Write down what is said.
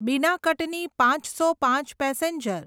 બીના કટની પાંચસો પાંચ પેસેન્જર